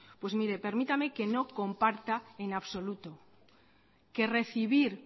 pues mire permítame que no comparta en absoluto que recibir